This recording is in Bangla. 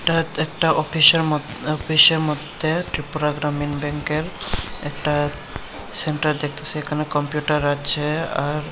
এটা একটা অফিসের মধ্যে অফিসের মধ্যে ত্রিপুরা গ্রামীণ ব্যাংকের একটা সেন্টার দেখতেসি এখানে কম্পিউটার আছে আর--